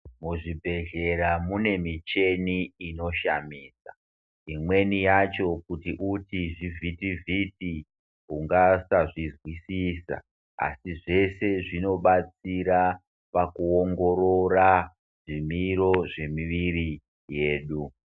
Muzvibhedhlera mune mucheni inoshamisa imweni yacho kuti uti zvivhiti vhiti ungasazvizwisisa asi zvese zvinobatsira pakuongorora zvimiro zvemuviri yedu.